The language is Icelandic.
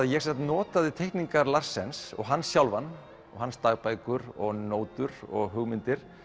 ég notaði teikningar Larsens og hann sjálfan og hans dagbækur og nótur og hugmyndir